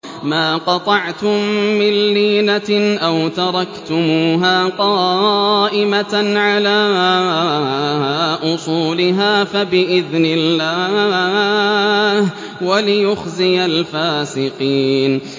مَا قَطَعْتُم مِّن لِّينَةٍ أَوْ تَرَكْتُمُوهَا قَائِمَةً عَلَىٰ أُصُولِهَا فَبِإِذْنِ اللَّهِ وَلِيُخْزِيَ الْفَاسِقِينَ